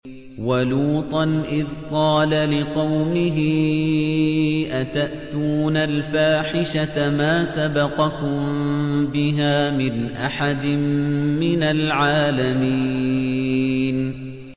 وَلُوطًا إِذْ قَالَ لِقَوْمِهِ أَتَأْتُونَ الْفَاحِشَةَ مَا سَبَقَكُم بِهَا مِنْ أَحَدٍ مِّنَ الْعَالَمِينَ